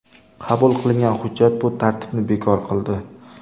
Qabul qilingan hujjat bu tartibni bekor qildi.